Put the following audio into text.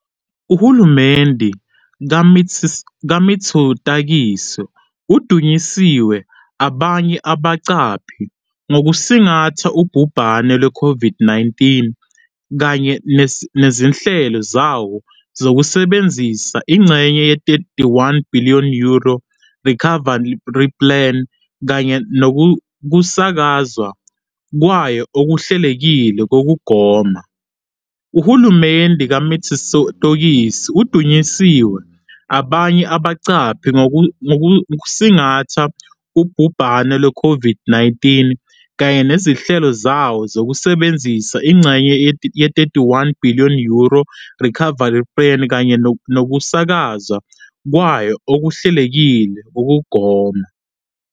Uhulumeni kaMitsotakis udunyiswe abanye abaqaphi ngokusingatha ubhubhane lwe-COVID-19 kanye nezinhlelo zawo zokusebenzisa ingxenye ye-31 billion euro ye-EU's Recovery Plan kanye nokusakazwa kwayo okuhlelekile kokugoma.